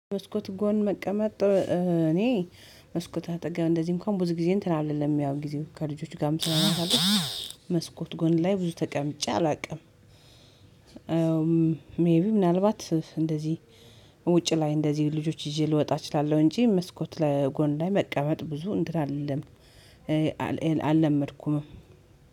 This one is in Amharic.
መስኮት ጎን መቀመጥ እኔ መስኮት አጠገብ እንደዚህ እንኳን ብዙ ጊዜ እንትን አይደለም ያው ጊዜው ከልጆቹ ጋር ስለማሳልፍ። መስኮት ጎን ላይ ብዙ ተቀምጬ አላውቅም። ሜይ ቢ ምናልባት እንደዚህ ውጪ ላይ እንደዚህ ልጆች ይዤ ልወጣ እችላለሁ። እንጂ መስኮት ለጎን ላይ መቀበል ብዙ እንን አልልም አልለመድኩም።